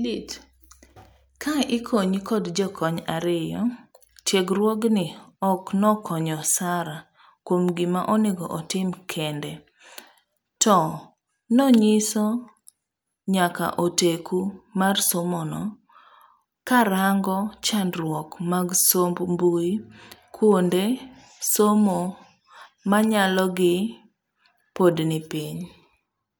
Ka ikonyi kod jokony ariyo, tiegruogni ok nokonyo Sara kuom gima onego otim kende, to nonyiso nyakaoteku mar somono karango chandruok mag somb mbuie kuonde somo manyalogi pod nipiny.